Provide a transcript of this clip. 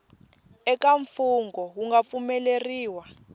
eka mfungho wu nga pfumeleriwa